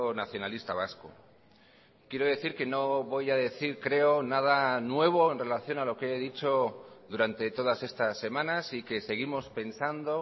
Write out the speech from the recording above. nacionalista vasco quiero decir que no voy a decir creo nada nuevo en relación a lo que he dicho durante todas estas semanas y que seguimos pensando